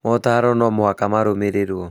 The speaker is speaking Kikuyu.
Mootaro no mũhaka marũmĩrĩrũo